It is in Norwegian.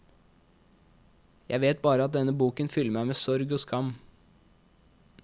Jeg vet bare at denne boken fyller meg med sorg og skam.